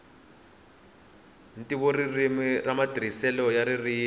ntivoririmi na matirhiselo ya ririmi